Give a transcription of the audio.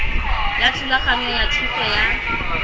ya thulaganyo ya thuso ya